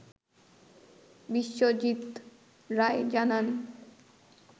বিশ্বজিৎ রায় জানান